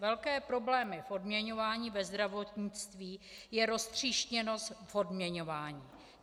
Velké problémy v odměňování ve zdravotnictví, je roztříštěnost v odměňování.